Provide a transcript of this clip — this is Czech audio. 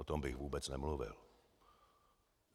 O tom bych vůbec nemluvil.